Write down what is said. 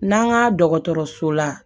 N'an ka dɔgɔtɔrɔso la